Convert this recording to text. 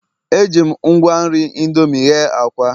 Eji m ngwa nri indomie hee akwa